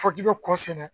Fɔ k'i bɛ kɔ sɛnɛ